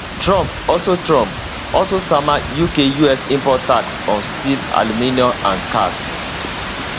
trump also trump also sama uk 25 us import tax on steel aluminium and cars